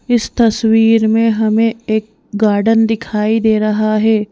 इस तस्वीर में हमें एक गार्डन दिखाई दे रहा है।